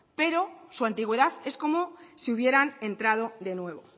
pero su antigüedad es como si hubieran entrado de nuevo